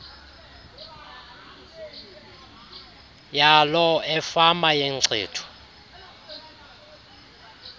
yaloo efama yenkcitho